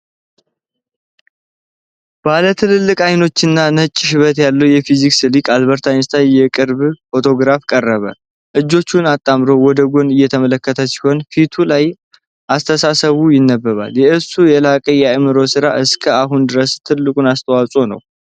ባለ ትላልቅ አይኖች እና ነጭ ሽበት ያለው የፊዚክስ ሊቅ አልበርት አንስታይን የቅርብ ፎቶግራፍ ቀረበ። እጆቹን አጣምሮ ወደ ጎን እየተመለከተ ሲሆን፣ ፊቱ ላይ አስተሳሰብ ይነበባል። የእሱ የላቀ የአዕምሮ ሥራ እስከ አሁን ድረስ ትልቁ አስተዋፅዖ ነው?